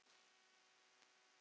Eftir að móður